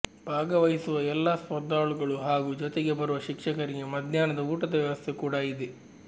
ಭಾಗವಹಿಸುವ ಎಲ್ಲ ಸ್ಪರ್ಧಾಳುಗಳು ಹಾಗೂ ಜೊತೆಗೆ ಬರುವ ಶಿಕ್ಷಕರಿಗೆ ಮಧ್ಯಾಹ್ನ ಊಟದ ವ್ಯವಸ್ಥೆ ಕೂಡ ಇದೆ